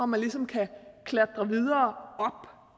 man ligesom kan klatre videre